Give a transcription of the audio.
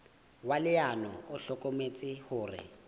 wa leano o hlokometse hore